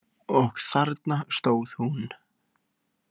Og þarna stóð hún.